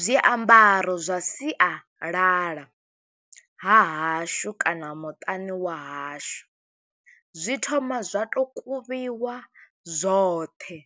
Zwiambaro zwa sialala ha hashu kana muṱani wa hashu, zwi thoma zwa to kuvhiwa zwoṱhe,